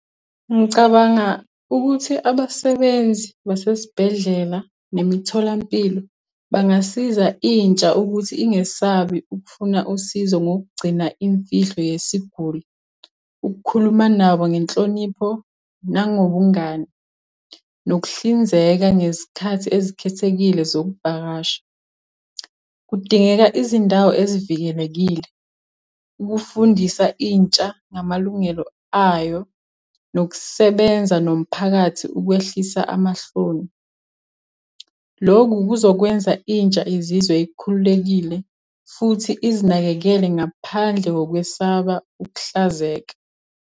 Ngicabanga ukuthi abasebenzi basesibhedlela, nemitholampilo bangasiza intsha ukuthi ingesabi ukufuna usizo ngokugcina imfihlo yesiguli. Ukukhuluma nabo ngenhlonipho nangobungani, nokuhlinzeka ngezikhathi ezikhethekile zokuvakasha. Kudingeka izindawo ezivikelekile, ukufundisa intsha ngamalungelo ayo, nokusebenza nomphakathi ukwehlisa amahloni. Lokhu kuzokwenza intsha izizwe ikhululekile, futhi izinakekele ngaphandle kokwesaba ukuhlazeka.